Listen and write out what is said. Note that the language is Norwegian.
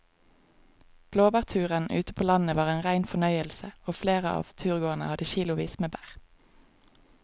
Blåbærturen ute på landet var en rein fornøyelse og flere av turgåerene hadde kilosvis med bær.